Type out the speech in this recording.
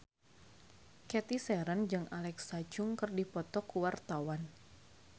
Cathy Sharon jeung Alexa Chung keur dipoto ku wartawan